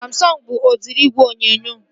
Samsọngu bụ udiri igwe onyonyo